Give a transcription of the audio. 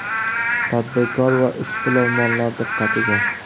Tadbirkor va ishbilarmonlar diqqatiga!